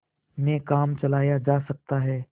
में काम चलाया जा सकता है